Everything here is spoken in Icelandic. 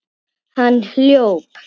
Hann hljóp.